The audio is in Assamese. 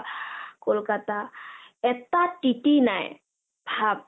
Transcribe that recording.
কলকতা এটা টিতি নাই ভাব !